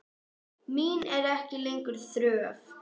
Mín er ekki lengur þörf.